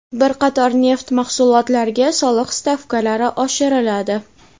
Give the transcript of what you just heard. Bir qator neft mahsulotlariga soliq stavkalari oshiriladi.